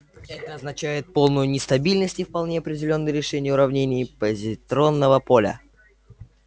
это означает полную нестабильность и вполне определённые решения уравнений позитронного поля